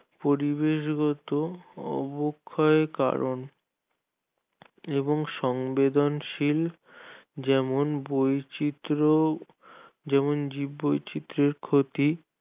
পরিশেষ গত অবক্ষয়ের কারণ এবং সংবেদনশীল যেমন বৈচিত্র্য যেমন জীববৈচিত্রের ক্ষতি